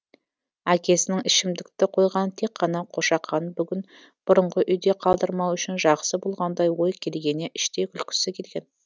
әкесінің ішімдікті қойғаны тек қана қошақанын бүгін бұрынғы үйде қалдырмау үшін жақсы болғандай ой келгеніне іштей күлкісі келген